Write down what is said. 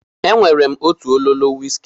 E nwere m otu ololo wiski.